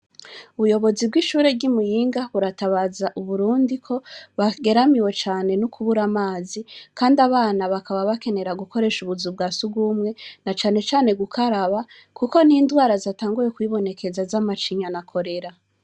Ubuyobozi bwishure ryi Muyinga buratabaza uburundi ko bageramiwe cane no kubura amazi kandi abana bakaba bakenera gukoresha ubuzu bwa sugumwe na cane cane gukaraba kuko n'indwara zatanguye kwibonekeza zamacinya na korera.